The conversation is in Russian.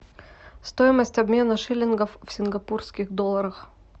стоимость обмена шиллингов в сингапурских долларах